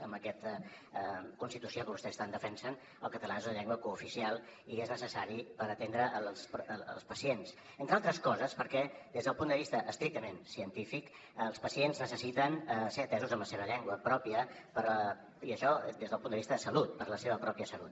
amb aquesta constitució que vostès tant defensen el català és la llengua cooficial i és necessari per atendre els pacients entre altres coses perquè des del punt de vista estrictament científic els pacients necessiten ser atesos en la seva llengua pròpia i això des del punt de vista de salut per a la seva pròpia salut